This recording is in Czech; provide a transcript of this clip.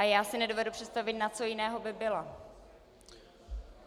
A já si nedovedu představit, na co jiného by byla?